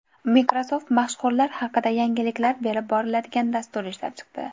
Microsoft mashhurlar haqida yangiliklar berib boriladigan dastur ishlab chiqdi.